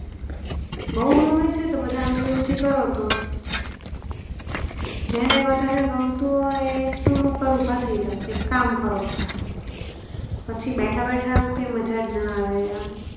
બહુ ગમે છેતો બધા આંગળી ઉંચી કરો તો જેને વધારે ગમ તું હોય એ સ્ટોલ ઉપર ઉભા થઇ જાવ એક કામ કરો બધા પછી બેઠા બેઠા કે મજા ના આવે આમ?